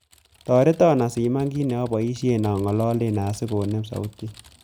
Toreton asiman kiit naboishen angololen asigonem sautit